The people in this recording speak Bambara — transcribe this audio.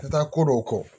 Taa ko dɔw kɔ